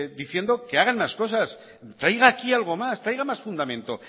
diciendo que hagan las cosas y traigan aquí algo más traigan más fundamentos